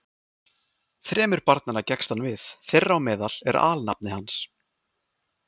Þremur barnanna gekkst hann við, þeirra á meðal er alnafni hans.